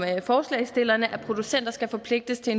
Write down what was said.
forslagsstillerne at producenter skal forpligtes til